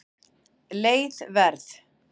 Leið Verð